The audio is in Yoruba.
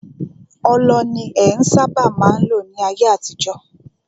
Ọlọ ni en sábà má n lò ní ayé àtijọ́.